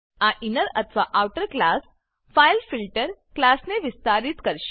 આ ઇનર અથવા outer class file filter file filter ક્લાસને વિસ્તારિત કરશે